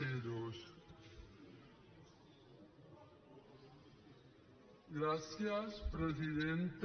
gràcies presidenta